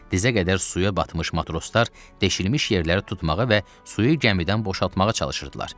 Dizə qədər suya batmış matroslar deşilmiş yerləri tutmağa və suyu gəmidən boşaltmağa çalışırdılar.